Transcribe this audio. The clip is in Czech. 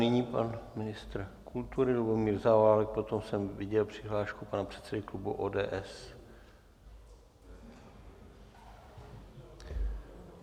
Nyní pan ministr kultury Lubomír Zaorálek, potom jsem viděl přihlášku pana předsedy klubu ODS.